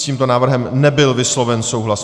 S tímto návrhem nebyl vysloven souhlas.